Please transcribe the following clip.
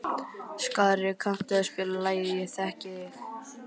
Skari, kanntu að spila lagið „Ég þekki þig“?